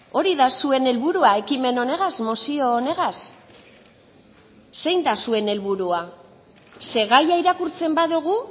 hori da zuen helburua ekimen honegaz mozio honegaz zein da zuen helburua ze gaia irakurtzen badugu